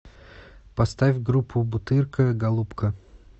поставь группу бутырка голубка